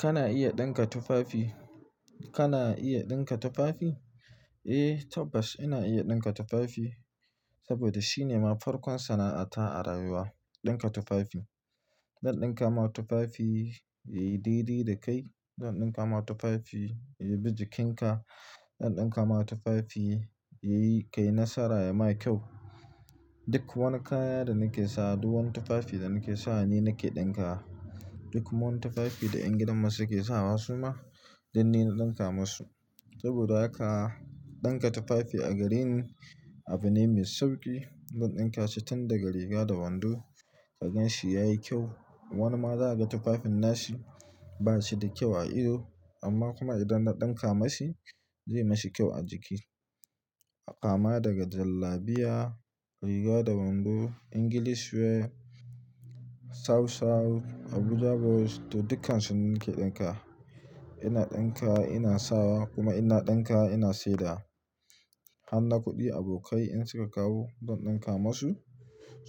Kana iya dinka tufafi? Kana iya dinka tufafi? Eh tabbas ina iya dinka tufafi, saboda shine ma farkon sana'ata a rayuwa, dinka tufafi. Zan dinka ma tufafi yayi daidai da kai, zan dinka ma tufafi ya bi jikinka, zan dinka ma tufafi yayi kai nasara ya ma kyau. Duk wani kaya da nake sawa, duk wani tufafi da nake sawa ni nake dinka wa. Duk wani tufafi da ƴan gidan masu ke sawa su ma, duk ni na dinka masu. Saboda haka dinka tufafi a garin abune mai sauƙi. Zan dinka shi tun daga riga da wando, ka gan shi yayi kyau. Wani ma za aga tufafin nashi bashi da kyau a ido, amma kuma idan na dinka mashi zai mishi kyau a jiki. Kama daga jallabiya, riga da wando, English wear, asaw-saw, Abuja blouse to dukkansu ni nake dinka wa. Ina dinka, ina sawa kuma ina dinkawa ina saidawa. Harna kuɗi abokai in suka kawo zan dinka masu.